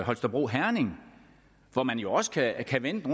holstebro herning hvor man jo også kan kan vende det